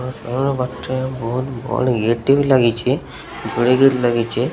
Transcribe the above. ବହୁତ ବଡ଼ ଟେ ବି ଲାଗିଚେ। ଲାଗିଚେ।